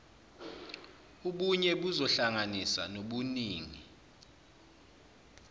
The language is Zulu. ubunye buzohlanganisa nobuningi